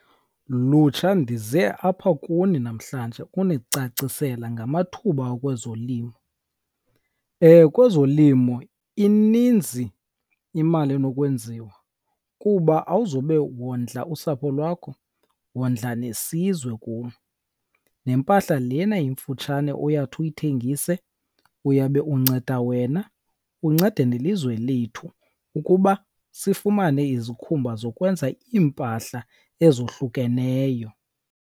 Lutsha ndize apha kuni namhlanje unicacisela ngamathuba kwezolimo. Kwezolimo ininzi imali enokwenziwa kuba awuzube wondla usapho lwakho, wondla nesizwe kum. Nempahla lena imfutshane uyawuthi uyithengise uyabe unceda wena unceda nelizwe lethu ukuba sifumane izikhumba zokwenza iimpahla ezohlukeneyo.